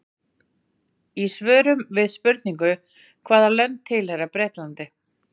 Í svörum við spurningunum Hvaða lönd tilheyra Bretlandi?